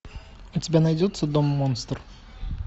у тебя найдется дом монстр